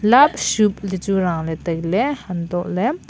labshub tihchu rahley tailay hantohley--